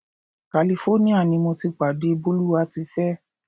California ni mo ti pàdé Bólúwátifẹ́.